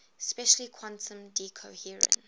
especially quantum decoherence